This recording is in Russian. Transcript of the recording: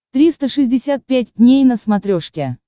триста шестьдесят пять дней на смотрешке